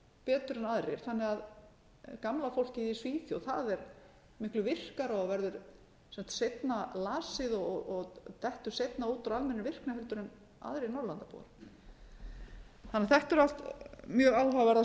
betur en aðrir þannig að gamla fólkið í svíþjóð það er miklu virkara og verður seinna lasið og dettur seinna út úr almennri virkni heldur en aðrir norðurlandabúar þannig að þetta eru allt mjög áhugaverðar